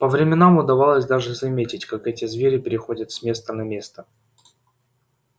по временам удавалось даже заметить как эти звери переходят с места на место